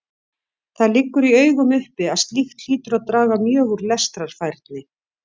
Það liggur í augum uppi að slíkt hlýtur að draga mjög úr lestrarfærni.